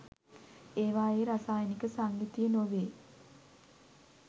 ඒවායේ රසායනික සංයුතිය නොවේ.